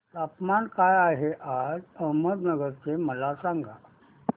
तापमान काय आहे आज अहमदनगर चे मला सांगा